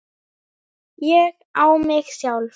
ÉG Á MIG SJÁLF!